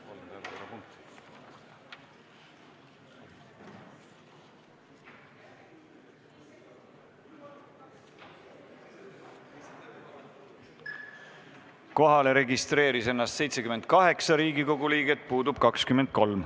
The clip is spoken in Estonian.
Kohaloleku kontroll Kohale registreerus 78 Riigikogu liiget, puudub 23.